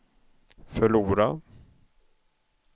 förlora